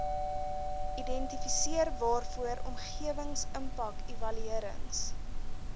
identifiseer waarvoor omgewingsimpakevaluerings